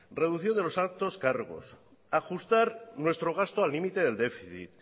reduciendo los altos cargos ajustar nuestro gasto al límite del déficit